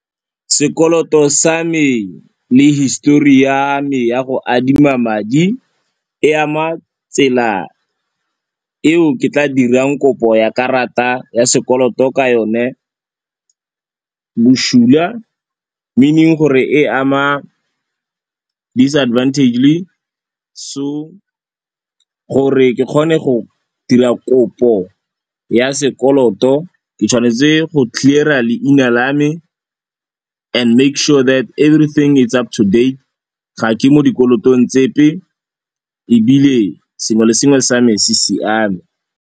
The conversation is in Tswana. Sekoloto sa me le histori ya me ya go adima madi e ama tsela eo ke tla dirang kopo ya karata ya sekoloto ka yone bosula meaning gore e ama disadvantagely so gore ke kgone go dira kopo ya sekoloto ke tshwanetse go clear-a leina la me and make sure that everything it's up to date, ga ke mo dikolotong tsepe ebile sengwe le sengwe sa me se siame.